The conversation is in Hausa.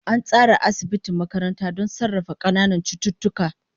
An tsara asibiti makaranta don sarrafa ƙananan cututtuka.